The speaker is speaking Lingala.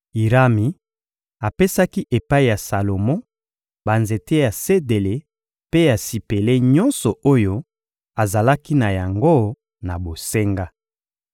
Irami apesaki epai ya Salomo banzete ya sedele mpe ya sipele nyonso oyo azalaki na yango na bosenga.